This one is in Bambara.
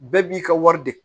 Bɛɛ b'i ka wari de